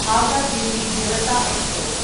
Howrah Delhi Janata express